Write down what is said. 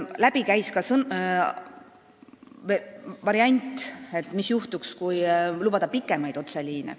Läbi käis ka variant, mis juhtuks, kui lubada pikemaid otseliine.